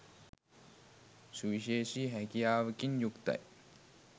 සුවිශේෂී හැකියාවකින් යුක්තයි.